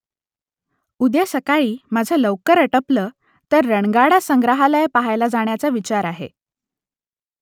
उद्या सकाळी माझं लवकर अटपलं तर रणगाडा संग्रहालय पहायला जाण्याचा विचार आहे